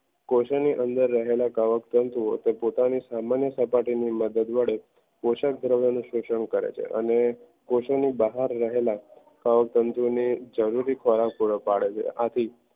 ઓશોની રહેલા અંદરનાં કવક તંતુઓ તે પોતાની સામાન્ય સપાટીની મદદ મળે પોષક ધ્રાવો ની શોષણ કરે છે અને કોશોની બહાર રહેલા કવક તંતુઓ જરૂરી ખોરાક પૂરો પાડે છે